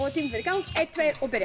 tíminn fer í gang einn tveir og byrja